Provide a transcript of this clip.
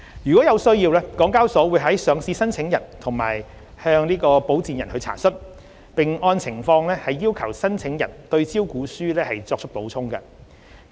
如有需要，港交所會向上市申請人及其保薦人查詢，並按情況要求申請人對招股書作出補充。